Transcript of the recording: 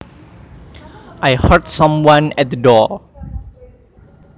I heard someone at the door